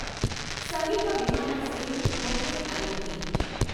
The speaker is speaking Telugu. సమీప విమానాశ్రయం ముప్పై ఐదు కి.